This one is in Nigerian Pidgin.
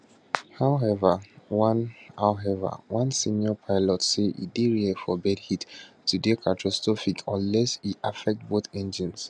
however one however one senior pilot say e dey rare for bird hit to dey catastrophic unless e affect both engines